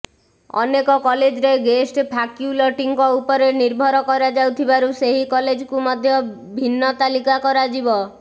ଅନେକ କଲେଜରେ ଗେଷ୍ଟ ଫାକ୍ୟୁଲଟିଙ୍କ ଉପରେ ନିର୍ଭର କରାଯାଉଥିବାରୁ ସେହି କଲେଜକୁ ମଧ୍ୟ ଭିନ୍ନ ତାଲିକା କରାଯିବ